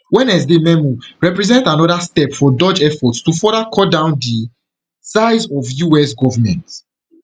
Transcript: wednesday memo represent anoda step for doge efforts to further cut down di size of us government